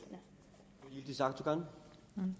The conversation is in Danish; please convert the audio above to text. hvad